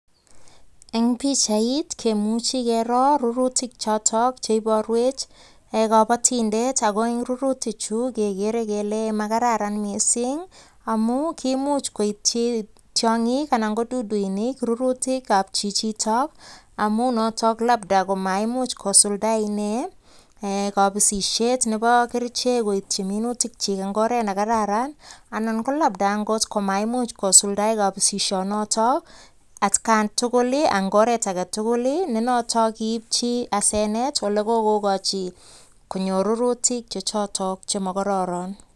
Eng pichait kemuchi kero rurutik chotok che iporwech kabatindet ako eng rurutik chu kegeere kele makararan mising amun kiimuch koityi tiongik anan ko duduinik rurutikab chichitok amun ne noto labda komaimuch kosulda inee kapisisiet nebo kerichek koityi minutik chi eng oret ne kararan anan ko labda angot komaimuch kosuldae kapisisionotok atkan tugul eng oret age tugul nenoto kiipchi asenet ole kokochi konyor rurutik chechoto koma kororon.